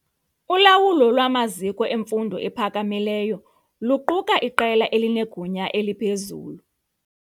Ulawulo lwamaziko emfundo ephakamileyo luquka iqela elinegunya eliphezulu.